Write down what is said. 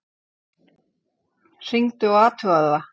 Hringdu og athugaðu það.